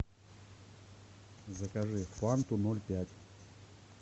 закажи фанту ноль пять